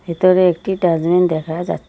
ভিতরে একটি ডাস্টবিন দেখা যা--